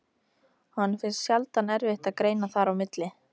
Honum finnst sjaldan erfitt að greina þar á milli.